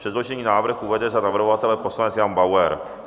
Předložený návrh uvede za navrhovatele poslanec Jan Bauer.